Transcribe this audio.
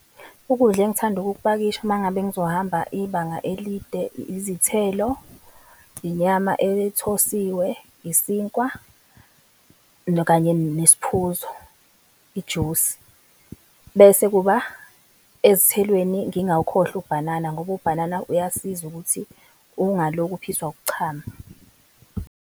Ukudla engithanda ukukpakisha uma ngabe ngizohamba ibanga elide, izithelo, inyama ethosiwe, isinkwa, kanye nesiphuzo, ijusi, bese kuba ezithelweni ngingawukhohlwa ubhanana ngoba ubhanana uyasiza ukuthi ungaloku uphiswa ukuchama.